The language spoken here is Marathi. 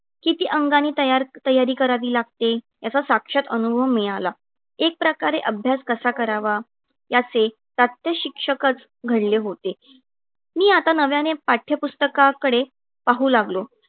किती अंगाने तयार तयारी करावी लागते याचा साक्षात अनुभव मिळाला. एक प्रकारे अभ्यास कसा करावा? याचे प्रात्यक्षिककचं घडले होते. मी आता नव्याने पाठ्यपुस्तकाकडे पाहू लागलो.